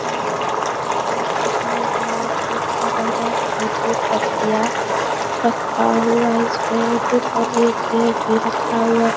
यहाँ पे चिड़ियाघर देखने में बोहोत ही अच्छा लग रहा है। इस पेड़ पे इक पत्तियां रखखा हुआ है। इस पेड़ के ऊपर इक पेड़ भी रखखा हुआ है।